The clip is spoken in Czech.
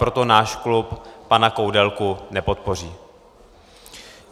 Proto náš klub pana Koudelku nepodpoří.